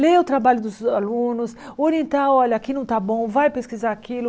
Ler o trabalho dos alunos, orientar, olha, aqui não está bom, vai pesquisar aquilo.